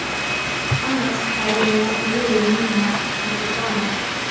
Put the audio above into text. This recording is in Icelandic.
Annars hefði mér ekki liðið núna eins og kjána.